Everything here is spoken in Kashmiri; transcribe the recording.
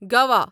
گوا